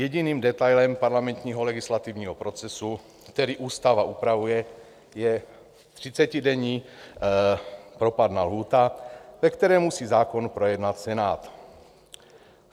Jediným detailem parlamentního legislativního procesu, který ústava upravuje, je třicetidenní propadná lhůta, ve které musí zákon projednat Senát.